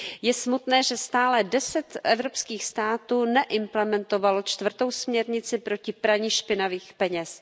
Je smutné, že stále deset evropských států neimplementovalo čtvrtou směrnici proti praní špinavých peněz.